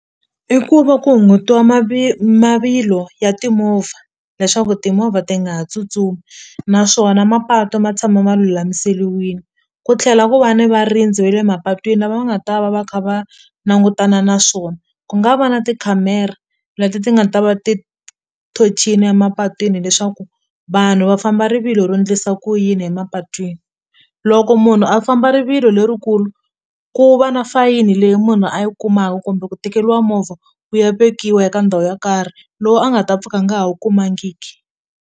I ku va ku hungutiwa mavilo ya timovha leswaku timovha ti nga ha tsutsumi naswona mapatu ma tshama ma lulamiseliwini ku tlhela ku va ni varindzi ve le mapatwini lava va nga ta va va kha va langutana na swona ku nga va na tikhamera leti ti nga ta va ti thonicini emapatwini leswaku vanhu va famba rivilo ro ndlisa ku yini emapatwini loko munhu a famba rivilo lerikulu ku va na fayini leyi munhu a yi kumaku kumbe ku tekeliwa movha wu ya vekiwa eka ndhawu yo karhi lowu a nga ta pfuka a nga ha wu kumangiki.